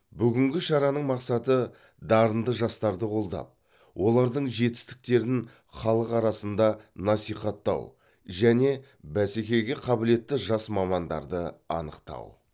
бүгінгің шараның мақсаты дарынды жастарды қолдап олардың жетістіктерін халықа арасында насихаттау және бәскеге қабілетті жас мамандарды анықтау